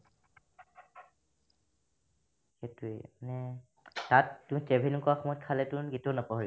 সেইটোয়ে মানে তাত তুমি travel নকৰা সময়ত খালেতোন সেইটো নাপাহৰিবা